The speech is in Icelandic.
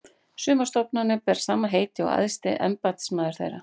Sumar stofnanir bera sama heiti og æðsti embættismaður þeirra.